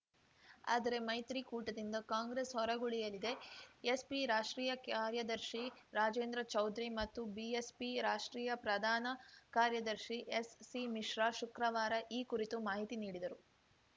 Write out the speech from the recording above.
ಆದರೆ ಮೈತ್ರಿಕೂಟದಿಂದ ಕಾಂಗ್ರೆಸ್‌ ಹೊರಗುಳಿಯಲಿದೆ ಎಸ್‌ಪಿ ರಾಷ್ಟ್ರೀಯ ಕಾರ್ಯದರ್ಶಿ ರಾಜೇಂದ್ರ ಚೌಧರಿ ಮತ್ತು ಬಿಎಸ್‌ಪಿ ರಾಷ್ಟ್ರೀಯ ಪ್ರಧಾನ ಕಾರ್ಯದರ್ಶಿ ಎಸ್‌ಸಿ ಮಿಶ್ರಾ ಶುಕ್ರವಾರ ಈ ಕುರಿತು ಮಾಹಿತಿ ನೀಡಿದರು